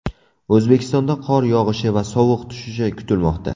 O‘zbekistonda qor yog‘ishi va sovuq tushishi kutilmoqda.